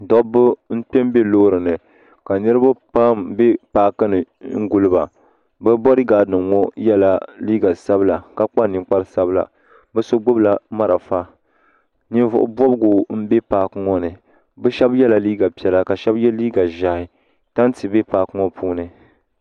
Dobba n-kpe m-be loori ni ka niriba pam be paaki ni n-guli ba bɛ bodigaadinima ŋɔ yela neen'sabila ka kpa ninkpar'sabila bɛ so gbubila marafa Ninvuɣubɔbigu m-be paaki ŋɔ ni bɛ shɛba yela liiga piɛla ka bɛ shɛba ye liiga ʒɛhi tanti be paaki ŋɔ puuni.